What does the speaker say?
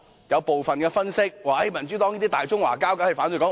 有部分分析說，民主黨是"大中華膠"，當然反對"港獨"。